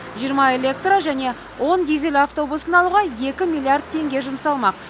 жиырма электро және он дизель автобусын алуға екі миллиард теңге жұмсалмақ